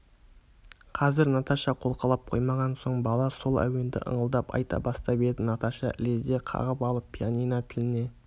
қазір наташа қолқалап қоймаған соң бала сол әуенді ыңылдап айта бастап еді наташа ілезде қағып алып пианино тіліне